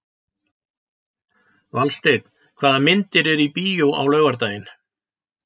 Valsteinn, hvaða myndir eru í bíó á laugardaginn?